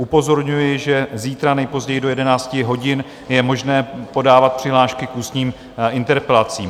Upozorňuji, že zítra nejpozději do 11 hodin je možné podávat přihlášky k ústním interpelacím.